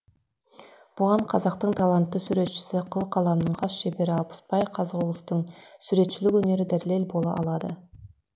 бұған қазақтың талантты суретшісі қыл қаламның қас шебері алпысбай қазығұловтың суретшілік өнері дәлел бола алады